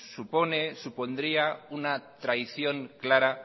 supone supondría una traición clara